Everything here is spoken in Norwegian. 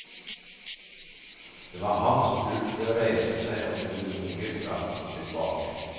Det var hans tur til å reise seg og gå urolig fram og tilbake.